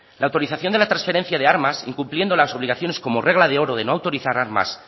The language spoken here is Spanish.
la autorización de la transferencia de armas incumpliendo las obligaciones como regla de oro de no autorizar armas